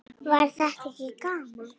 Var þetta ekki gaman?